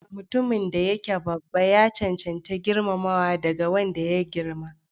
Mutumin da yake babba ya cancanci girmamawa daga wanda ya girma.